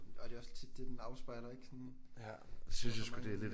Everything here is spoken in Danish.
Og det er også tit det den afspejler ik? Sådan for mange